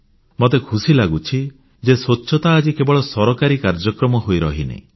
ମୋତେ ଖୁସି ଲାଗୁଛି ଯେ ସ୍ୱଚ୍ଛତା ଆଜି କେବଳ ସରକାରୀ କାର୍ଯ୍ୟକ୍ରମ ହୋଇ ରହିନାହିଁ